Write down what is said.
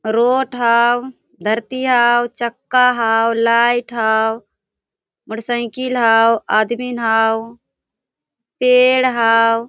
Road हाव धरती हाव चक्का हाव लाइट हाव मोटरसाइकिल हाव आदमी हाव पेड़ हाव।